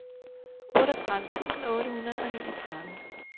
otteogtredive tusind otte hundrede og niogtredive